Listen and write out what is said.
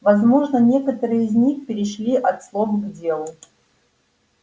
возможно некоторые из них перешли от слов к делу